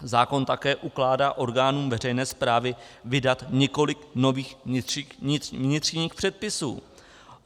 Zákon také ukládá orgánům veřejné správy vydat několik nových vnitřních předpisů.